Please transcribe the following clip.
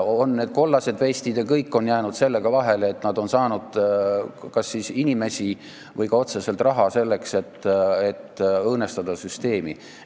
On need kollased vestid ja on jäädud sellega vahele, et on saadud kas inimesi või otseselt raha, selleks et õõnestada süsteemi.